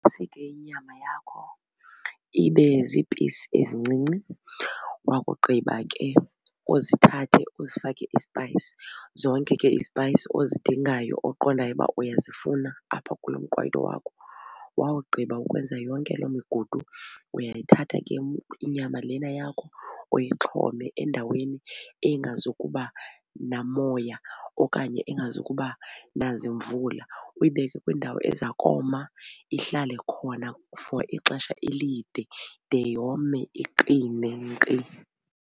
Usike inyama yakho ibe ziipisi ezincinci, wakugqiba ke uzithathe uzifake ispayisi. Zonke ke izpayisi ozidingayo oqondayo ukuba uyazifuna apha kulo mqwayiyo wakho. Wawugqiba ukwenza yonke loo migudu uyayithatha ke inyama lena yakho uyixhome endaweni engazukuba namoya okanye engazukuba nazimvula uyibeke kwindawo eza koma ihlale khona for ixesha elide de yome iqine nkqi.